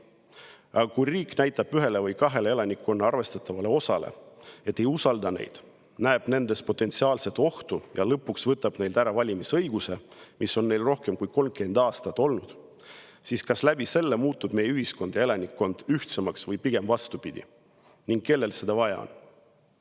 Aga kui riik väidab elanikkonna ühele või kahele arvestatavale osale, et ta ei usalda neid, näeb nendes potentsiaalset ohtu ja lõpuks võtab neilt ära valimisõiguse, mis on neil rohkem kui 30 aastat olnud, siis kas sellega muutuvad meie ühiskond ja elanikkond ühtsemaks või pigem vastupidi ning kellele seda vaja on?